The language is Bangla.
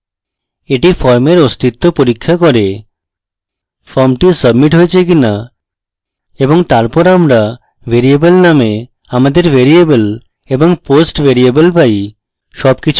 এটি ফর্মের অস্তিত্ব পরীক্ষা করে ফর্মটি submit হয়েছে কিনা এবং তারপর আমরা ভ্যারিয়েবল name আমাদের ভ্যারিয়েবল এবং post ভ্যারিয়েবল পাই